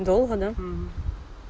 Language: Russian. долго да